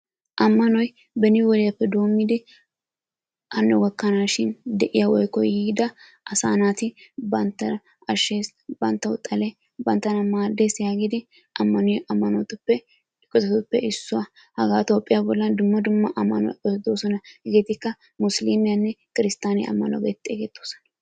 Ammanoy beni wodiyaappe doommidi hano gakkanaashin de'iyaa woykko yiida asaa naati banttaana ashshees, banttawu xalee, banttana maaddees yaagidi ammaniyo ammanotuppe issuwaa hagaa Itoophiya bollan dumma dumma ammanoti doosona. hegetikka Musilimiyanne Kristiyaan ammanuwaa getettidi xeessetoosona.